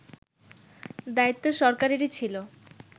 দায়িত্ব সরকারেরই ছিল